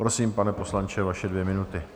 Prosím, pane poslanče, vaše dvě minuty.